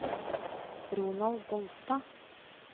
Ronald Bolstad